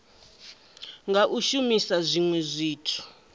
nga u shumisa zwinwe zwithu